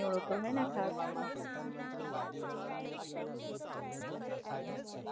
અચ્છા, એફબી સાથે ફરવા ગયો તો ક્યાંય?